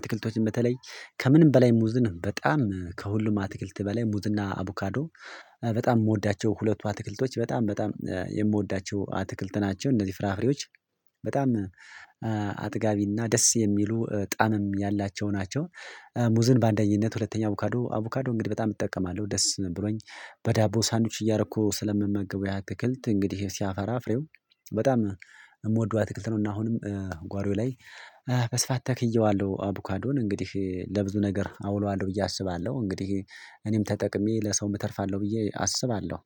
አትክልቶችን በተለይ ከምንም በላይ ሙዝን በጣም ከሁሉም አትክልት በላይ ሙዝና አቡካዶ በጣም የምወዳቸው ሁለቱ አትክልቶች በጣም በጣም የምወዳቸው አትክልት ናቸው። እነዚህ ፍራፍሬዎች በጣም አጥጋቢና ደስ የሚሉ ጣምም ያላቸው ናቸው። ሙዝን በአንደኝነት ሁለተኛ አቮካዶ አቮካዶ እንግዲህ በጣም እጠቀማለሁ ደስ ብሎኝ በዳቦ ሳንዱች እያረኩ ስለምመገበው ያ አትክልት እንግዲህ ሲያፈራፍረው በጣም የምወደው አትክልት ነው። እና አሁንም ጓሮዬ ላይ በስፋት ተክዬዋለሁ አቡካዶን እንግዲህ ለብዙ ነገር አውለዋለሁ ብዬ አስባለሁ እንግዲህ እኔም ተጠቅሜ ለሰውም እተርፋለሁ ብዬ አስባለሁ።